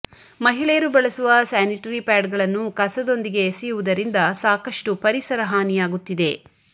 ಮಹಿಳೆಯರು ಬಳಸುವ ಸ್ಯಾನಿಟರಿ ಪ್ಯಾಡ್ಗಳನ್ನು ಕಸದೊಂದಿಗೆ ಎಸೆಯುವುದರಿಂದ ಸಾಕಷ್ಟು ಪರಿಸರ ಹಾನಿಯಾಗುತ್ತಿದೆ